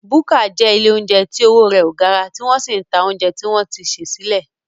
Búkà jẹ́ ilé óúnjẹ tí owó rẹ ò gara tí wọ́n sì ń ta óúnjẹ tí wọ́n ti sè sílẹ̀